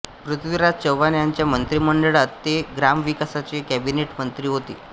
पृथ्वीराज चव्हाण यांच्या मंत्रिमंडळात ते ग्रामविकासाचे कॅबिनेट मंत्री होते